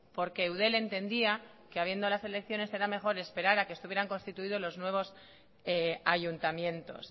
porque eudel entendía que habiendo las elecciones era mejor esperar a que estuvieran constituidos los nuevos ayuntamientos